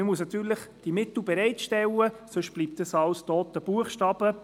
Man muss die Mittel natürlich bereitstellen, sonst bleibt alles toter Buchstabe.